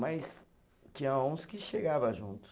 Mas tinha uns que chegava juntos.